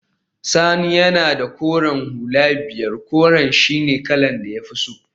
Sani yana da koren hula biyar, koren shine kalar da ya fi so